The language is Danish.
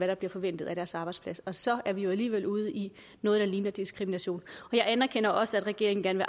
der bliver forventet af deres arbejdsplads og så er vi jo alligevel ude i noget der ligner diskrimination jeg anerkender også at regeringen gerne